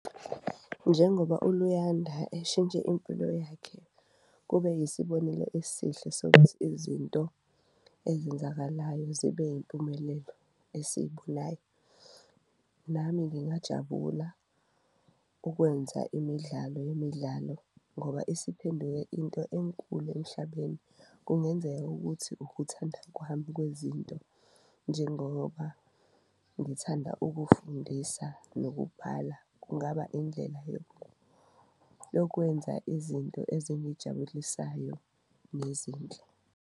Njengoba uLuyanda eshintshe impilo yakhe kube yisibonelo esihle sokuthi izinto ezenzakalayo zibe impumelelo esiyibonayo, nami ngingajabula ukwenza imidlalo yemidlalo ngoba isiphenduke into enkulu emhlabeni. Kungenzeka ukuthi ukuthanda kwami kwezinto, njengoba ngithanda ukufundisa nokubhala, kungaba indlela yokwenza izinto ezingijabulisayo nezinhle.